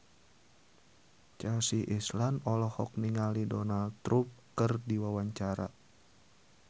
Chelsea Islan olohok ningali Donald Trump keur diwawancara